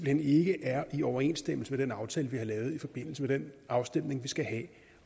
hen ikke er i overensstemmelse med den aftale vi har lavet i forbindelse med den afstemning vi skal have